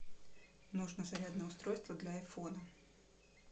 нужно зарядное устройство для айфона